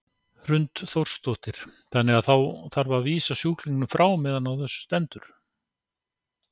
Hrund Þórsdóttir: Þannig að þá þarf að vísa sjúklingum frá meðan á þessu stendur?